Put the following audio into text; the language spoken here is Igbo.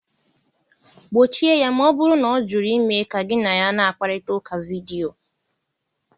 Gbochie ya ma ọ bụrụ na ọ jụrụ ime ka gị na gị na-akparịta ụka vidio!